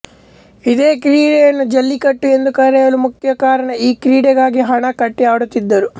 ಇದೆ ಕ್ರೀಡೆಯನ್ನು ಜಲ್ಲಿಕಟ್ಟು ಎಂದು ಕರೆಯಲು ಮುಖ್ಯ ಕಾರಣ ಈ ಕ್ರೀಡೆಗಾಗಿ ಹಣ ಕಟ್ಟಿ ಆಡುತ್ತಿದ್ದುದು